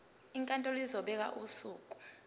inkantolo izobeka usuku